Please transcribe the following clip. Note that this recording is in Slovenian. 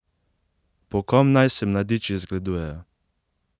Po kom naj se mladiči zgledujejo?